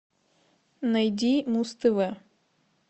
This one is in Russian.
найди муз тв